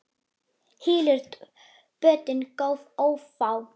Hylur bótin göt ófá.